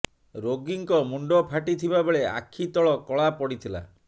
ରୋଗୀଙ୍କ ମୁଣ୍ଡ ଫାଟିଥିବା ବେଳେ ଆଖି ତଳ କଳା ପଡିଥିଲା